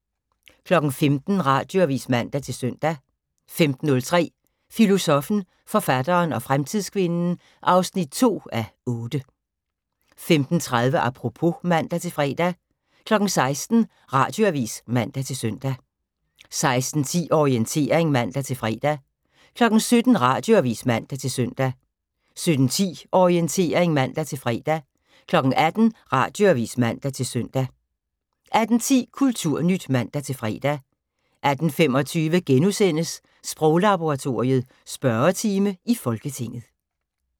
15:00: Radioavis (man-søn) 15:03: Filosoffen, forfatteren og fremtidskvinden 2:8 15:30: Apropos (man-fre) 16:00: Radioavis (man-søn) 16:10: Orientering (man-fre) 17:00: Radioavis (man-søn) 17:10: Orientering (man-fre) 18:00: Radioavis (man-søn) 18:10: Kulturnyt (man-fre) 18:25: Sproglaboratoriet: Spørgetime i Folketinget *